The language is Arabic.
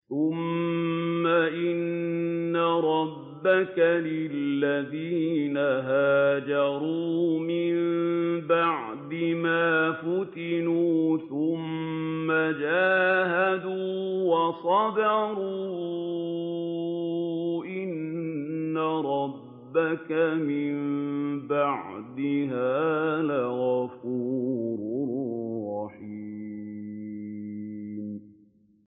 ثُمَّ إِنَّ رَبَّكَ لِلَّذِينَ هَاجَرُوا مِن بَعْدِ مَا فُتِنُوا ثُمَّ جَاهَدُوا وَصَبَرُوا إِنَّ رَبَّكَ مِن بَعْدِهَا لَغَفُورٌ رَّحِيمٌ